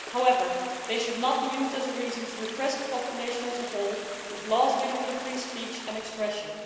However, this should not be used as a reason to repress the population as a whole, with laws limiting free speech and expression.